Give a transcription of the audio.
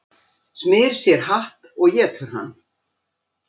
Smyr sér hatt og étur hann